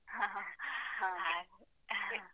ಹಾ ಹಾ. ಹಾಗೆ